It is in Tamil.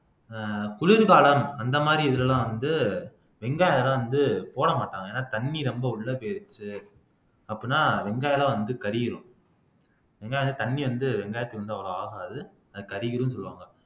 ஆஹ் குளிர்காலம் அந்த மாதிரி இதுல எல்லாம் வந்து வெங்காயம் எல்லாம் வந்து போட மாட்டாங்க ஏன்னா தண்ணி ரொம்ப உள்ள போயிருச்சு அப்பனா வெங்காயம் எல்லாம் வந்து கருகிடும் வெங்காயம் வந்து தண்ணி வந்து வெங்காயத்துக்கு வந்து அவ்வளவு ஆகாது அது கருகிரும்ன்னு சொல்லுவாங்க